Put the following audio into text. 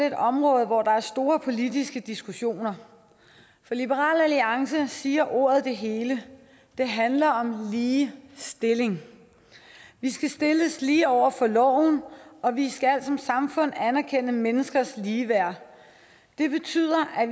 et område hvor der er store politiske diskussioner for liberal alliance siger ordet det hele det handler om lige stilling vi skal stilles lige over for loven og vi skal som samfund anerkende menneskers ligeværd det betyder at